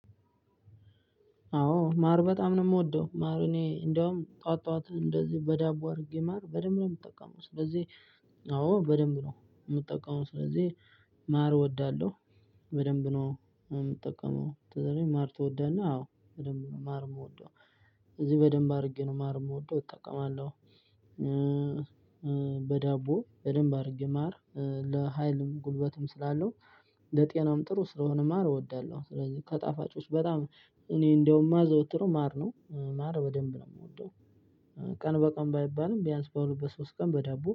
አወ ማር በጣም ነው የምወደው ማር እኔ እንደውም ጧት ጧት እንደዚህ በዳቦ አድርጌ ማር በደንብ ነው የምጠቀመው። ስለዚህ አወ በደንብ ነው የምጠቀመው ስለዚህ ማር እወዳለሁ። በደንብ ነው የምጠቀምው ስለዚህ ማር ትወዳለህ? አዎ በደንብ ነው ማር የምወደው። እዚህ በደንብ አድርጌ ነው ማር የምወደው እጠቀማለሁ። በዳቦ በደንብ አድርጌ ማር ለሀይልም ጉልበትም ስላለው። ለጤናም ጥሩ ስለሆነ ማር እወዳለሁ። ስለዚህ ከታፍጮች በጣም እኔ እንደው ማዘወትረው ማር ነው። ማር በደንብ ነው የምወደው። ቀን በቀን ባይባልም ቢያንስ በሁለት በሶስት ቀን በዳቦ